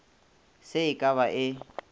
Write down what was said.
se e ka ba e